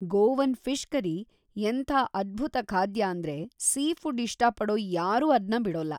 Govan fish curry ಎಂಥಾ ಅದ್ಭುತ ಖಾದ್ಯ ಅಂದ್ರೆ ಸೀಫುಡ್‌ ಇಷ್ಟಪಡೋ ಯಾರೂ ಅದ್ನ ಬಿಡೋಲ್ಲ.